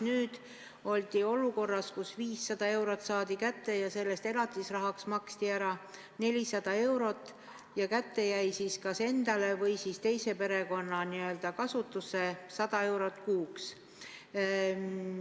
Nüüd oldi olukorras, kus 500 eurot saadi kätte ja sellest maksti elatisrahaks ära 400 eurot ja kätte jäi kas endale või teise perekonna n-ö kasutusse 100 eurot kuus.